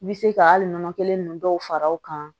I bɛ se ka hali nɔnɔ kelen ninnu dɔw fara o kan